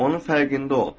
Onun fərqində ol.